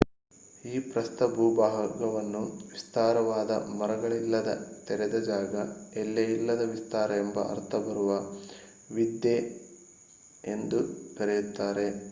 ಈ ಪ್ರಸ್ತ ಭೂ ಭಾಗವನ್ನು ವಿಸ್ತಾರವಾದ ಮರಗಳಿಲ್ಲದ ತೆರೆದ ಜಾಗ ಎಲ್ಲೆಯಿಲ್ಲದ ವಿಸ್ತಾರ ಎಂಬ ಅರ್ಥಬರುವ ವಿದ್ದೇ ಎಂದು ಕರೆಯುತ್ತಾರೆ